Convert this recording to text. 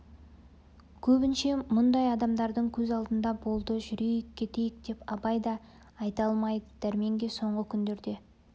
көбінше мұндар адамдардың көз алдында болды жүрейік кетейік деп абай да айта алмайды дәрменге соңғы күндерде